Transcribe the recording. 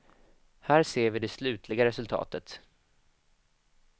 Här ser vi det slutliga resultatet.